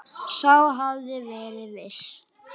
Sá hafði verið viss!